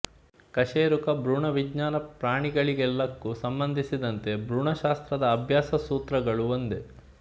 ಕಶೇರುಕ ಭ್ರೂಣವಿಜ್ಞಾನ ಪ್ರಾಣಿಗಳೆಲ್ಲಕ್ಕೂ ಸಂಬಂಧಿಸಿದಂತೆ ಭ್ರೂಣಶಾಸ್ತ್ರದ ಅಭ್ಯಾಸ ಸೂತ್ರಗಳು ಒಂದೇ